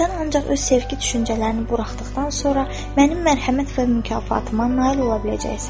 Sən ancaq öz sevgi düşüncələrini buraxdıqdan sonra mənim mərhəmət və mükafatıma nail ola biləcəksən.